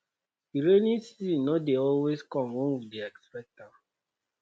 di rainy season no dey always come wen we dey expect am